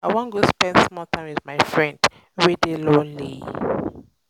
i wan go spend small time wit my friend wey dey lonely.